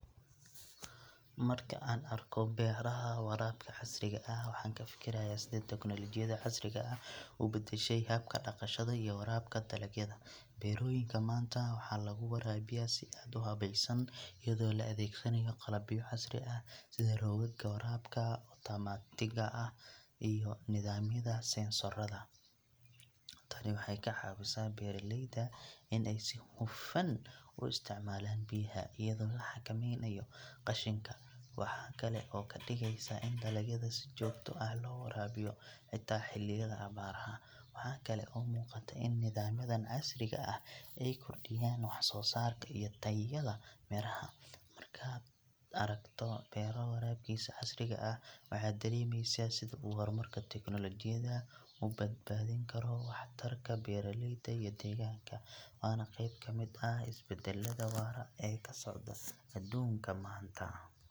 Marka aan arko beeraha waraabka casriga ah, waxaan ka fikirayaa sida tiknoolajiyada casriga ah u beddeshay habka dhaqashada iyo waraabka dalagyada. Beerooyinka maanta waxaa lagu waraabiyaa si aad u habaysan, iyadoo la adeegsanayo qalabyo casri ah sida roogaga waraabka otomaatiga ah iyo nidaamyada sensorrada. Tani waxay ka caawisaa beeralayda in ay si hufan u isticmaalaan biyaha, iyadoo la xakameynayo qashinka. Waxa kale oo ay ka dhigeysaa in dalagyada si joogto ah loo waraabiyo xitaa xilliyada abaaraha. Waxaa kale oo muuqata in nidaamyadan casriga ah ay kordhiyaan wax soo saarka iyo tayada miraha. Markaad aragto beero waraabkiisa casriga ah, waxaad dareemaysaa sida uu horumarka tiknoolajiyada u badbaadin karo waxtarka beeralayda iyo deegaanka. Waana qayb ka mid ah isbeddelada waara ee ka socda adduunka maanta.